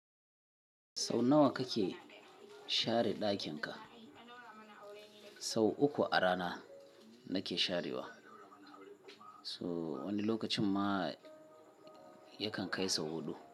Sau nawa kake share ɗakin ka? Sau uku a rana nake sharewa. To wani lokacin ma yakan kai sau huɗu.